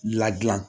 Ladilan